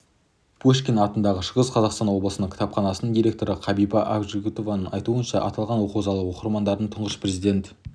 пушкин атындағы шығыс қазақстан облыстық кітапханасының директоры қабиба ақжігітованың айтуынша аталған оқу залы оқырмандардың тұңғыш президент